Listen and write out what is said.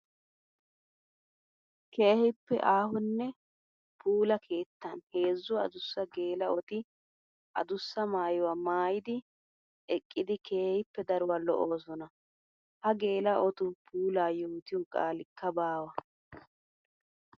Keehippe aahonne puula keettan heezzu adussa geela'otti adussa maayuwa maayiddi eqqiddi keehippe daruwa lo'osonna. Ha geela'ottu puula yootiyo qaalikka baawa.